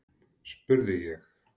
spurði ég.